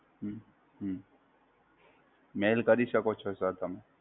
Mail કરી શકો છો Sir તમે!